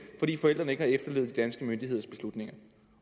fordi forældrene ikke har efterlevet de danske myndigheders beslutninger